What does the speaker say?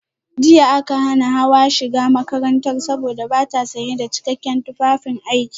Jiya aka hana Hawa shiga makarantar saboda bata sanye da cikakken tufafin aiki